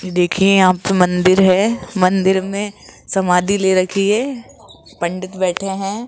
देखिये यहां पे मंदिर है मंदिर में समाधि ले रखी है पंडित बैठे हैं।